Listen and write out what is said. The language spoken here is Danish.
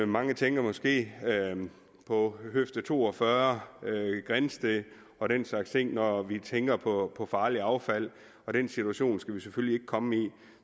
mange tænker måske på høfde to og fyrre grindsted og den slags ting når de tænker på farligt affald og den situation skal vi selvfølgelig ikke komme i